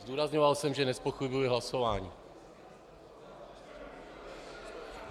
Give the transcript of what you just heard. Zdůrazňoval jsem, že nezpochybňuji hlasování.